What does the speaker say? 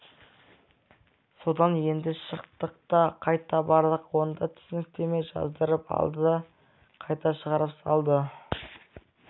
содан енді шықтық та қайта бардық онда түсініктеме жаздырып алды да қайта шығарып салды